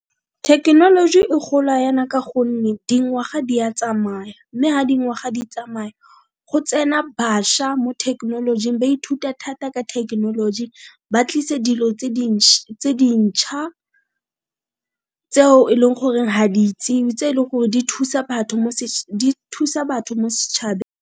Thekenoloji e gola yana ka gonne dingwaga di a tsamaya, mme ga dingwaga di tsamaya go tsena bašwa mo thekenolojing ba ithuta thata ka thekenoloji. Ba tlise dilo tse dintšha tseo e leng gore ga di itsiwe, tse e leng gore di thusa batho mo .